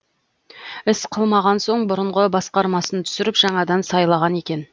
іс қылмаған соң бұрынғы басқармасын түсіріп жаңадан сайлаған екен